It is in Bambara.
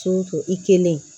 i kelen